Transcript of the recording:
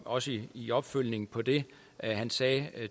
også i i opfølgningen på det han sagde